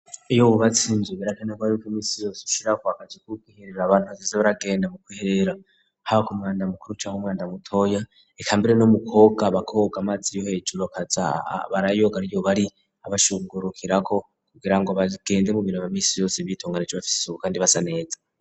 Iyo wubatse inzu birakenegwa yuko iminsi yose ushirako akazu ko kwiherera abantu hazoze baragenda mu kwiherera, haba ku mwanda mukuru canke umwanda mutoya, eka mbere no mu koga bakoga amazi yo hejuru, bakaza barayoga ariyo bari abashungurukirako kugira ngo bagende mu mirimo ya misi yose bitunganije bafise isuku kandi basa neza.